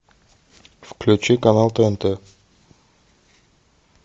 включи канал тнт